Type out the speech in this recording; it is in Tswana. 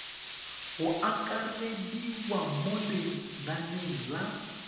go akarediwa mo lenaneng la